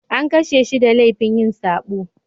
An kashe shi da laifin yin sabo.